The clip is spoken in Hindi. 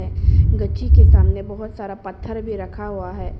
है गच्ची के सामने बहुत सारा पत्थर भी रखा हुआ है।